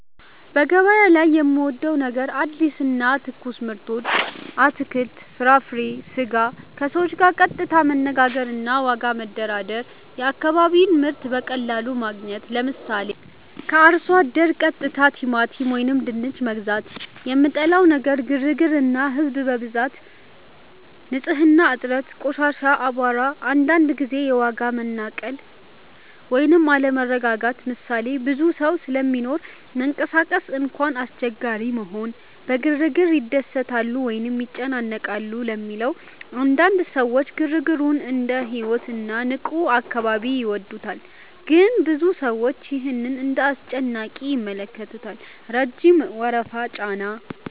) በገበያ ላይ የምወዴው ነገር አዲስ እና ትኩስ ምርቶች (አትክልት፣ ፍራፍሬ፣ ስጋ) ከሰዎች ጋር ቀጥታ መነጋገር እና ዋጋ መደራደር የአካባቢ ምርት በቀላሉ ማግኘት 👉 ምሳሌ፦ ከአርሶ አደር ቀጥታ ቲማቲም ወይም ድንች መግዛት 2) የምጠላው ነገር ግርግር እና ህዝብ ብዛት ንጽህና እጥረት (ቆሻሻ፣ አቧራ) አንዳንድ ጊዜ የዋጋ መናቀል ወይም አለመረጋጋት ምሳሌ፦ ብዙ ሰው ስለሚኖር መንቀሳቀስ እንኳን አስቸጋሪ መሆን 3) በግርግር ይደሰታሉ ወይስ ይጨነቃሉ ለሚለው? አንዳንድ ሰዎች ግርግሩን እንደ ሕይወት እና ንቁ አካባቢ ይወዱታል ግን ብዙ ሰዎች ይህን እንደ አስጨናቂ ይመለከታሉ (ረጅም ወረፋ፣ ጫና)